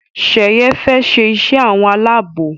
Sheye fè ṣe iṣé àwọn Àlàabò.